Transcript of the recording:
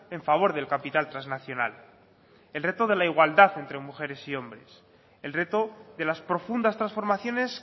en favor del capital trasnacional el reto de la igualdad entre mujeres y hombres el reto de las profundas transformaciones